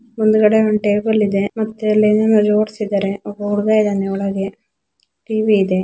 ಮುಂದುಗಡೆ ಒಂದು ಟೇಬಲ್ ಇದೆ ಮತ್ತೆ ಲಿನೆಯಲ್ಲಿ ಓಡಿಸಿದ್ದಾರೆ ಒಬ್ಬ ಹುಡುಗ ಇದಾನೆ ಒಳಗಡೆ ಟಿ.ವಿ ಇದೆ.